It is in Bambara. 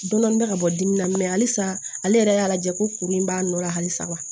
Dɔnni bɛ ka bɔ dimi na mɛ halisa ale yɛrɛ y'a lajɛ ko kuru in b'a nɔ la halisa wa